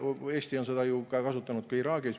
Eesti on seda kasutanud ju ka Iraagis.